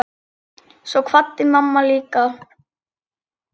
Svo kvaddi mamma líka.